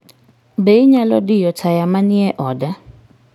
Be inyalo diyo taya manie oda?